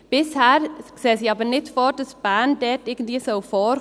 Bisher sehen sie aber nicht vor, dass Bern dort irgendwie vorkommen soll.